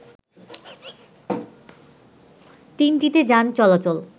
তিনটিতে যান চলাচল